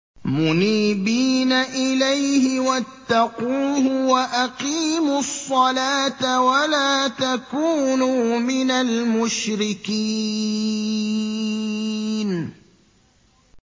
۞ مُنِيبِينَ إِلَيْهِ وَاتَّقُوهُ وَأَقِيمُوا الصَّلَاةَ وَلَا تَكُونُوا مِنَ الْمُشْرِكِينَ